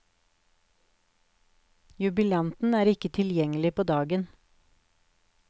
Jubilanten er ikke tilgjengelig på dagen.